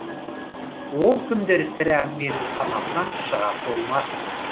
ол күндер сірә менің санамнан шыға қоймас